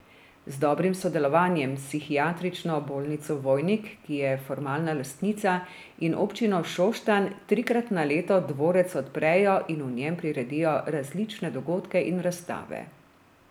Z dobrim sodelovanjem s psihiatrično bolnico Vojnik, ki je formalna lastnica, in občino Šoštanj trikrat na leto dvorec odprejo in v njem priredijo različne dogodke in razstave.